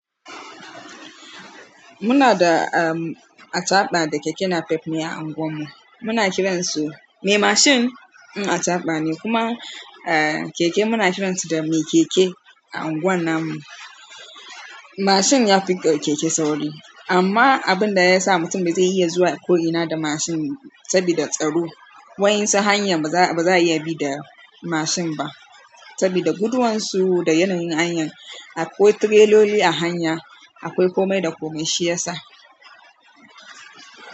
Muna da, ehm, acaɓa da keke napep ne a anguwan mu. Muna kiransu mai mashin, in acaɓa ne kuma, eh, keke muna kiransu da mai keke a anguwan nan mu. Mashin ya fi keke sauri amma abun da ya sa mutum bai iya zuwa ko ina da mashin sabida tsaro. Wayan su hanya ba za, ba za a iya bi da mashin ba sabida guduwan su da yanayin hanya. Akwai tireloli a hanya, akwai komai da komai shi ya sa.